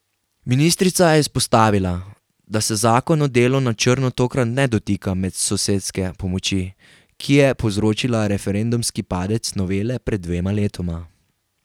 Ministrica je izpostavila, da se zakon o delu na črno tokrat ne dotika medsosedske pomoči, ki je povzročila referendumski padec novele pred dvema letoma.